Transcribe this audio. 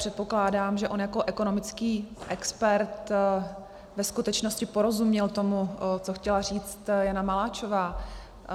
Předpokládám, že on jako ekonomický expert ve skutečnosti porozuměl tomu, co chtěla říci Jana Maláčová.